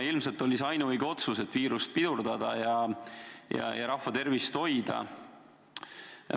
Ilmselt oli see ainuõige otsus, et viirust pidurdada ja rahva tervist hoida.